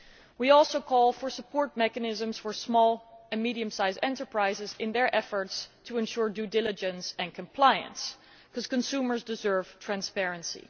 We also called for support mechanisms for small and medium sized enterprises in their efforts to ensure due diligence and compliance, because consumers deserve transparency.